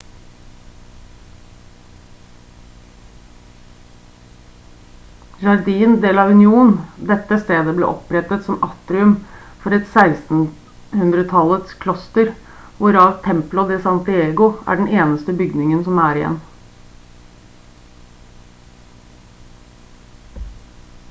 jardín de la unión. dette stedet ble opprettet som atrium for et 1600-tallets kloster hvorav templo de san diego er den eneste bygningen som er igjen